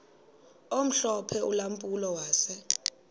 omhlophe ulampulo wase